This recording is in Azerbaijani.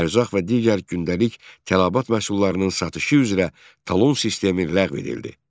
Ərzaq və digər gündəlik tələbat məhsullarının satışı üzrə talon sistemi ləğv edildi.